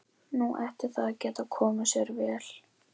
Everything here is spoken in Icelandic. Nú ætti það að geta komið sér vel.